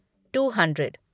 to hundred